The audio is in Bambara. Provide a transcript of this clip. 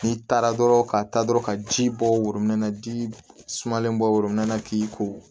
N'i taara dɔrɔn ka taa dɔrɔn ka ji bɔ worobinɛ na ji sumalen bɔ worobinɛ na k'i ko